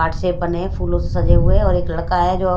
heart shape बने हैं फूलों से सजे हुए और एक लड़का है जो--